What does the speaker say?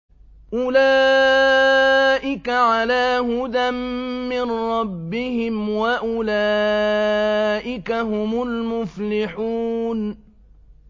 أُولَٰئِكَ عَلَىٰ هُدًى مِّن رَّبِّهِمْ ۖ وَأُولَٰئِكَ هُمُ الْمُفْلِحُونَ